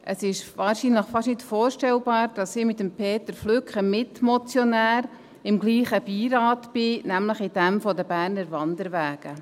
Es ist wahrscheinlich fast nicht vorstellbar, dass ich mit Peter Flück, dem Mitmotionär, im gleichen Beirat bin, nämlich in jenem der Berner Wanderwege.